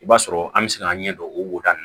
I b'a sɔrɔ an bɛ se k'an ɲɛdɔn o woda ninnu